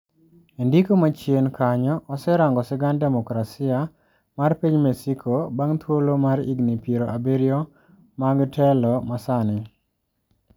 Endiko ma chien kanyo waserango sigand democrasia mar piny mexico bang thuolo mar higni piero abiriyo mag telo masani.